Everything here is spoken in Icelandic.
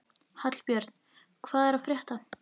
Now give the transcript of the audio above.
Hallbjörn, hvað er að frétta?